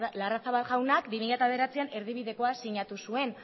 larrazabal jaunak bi mila bederatzian erdibidekoa sinatu zuen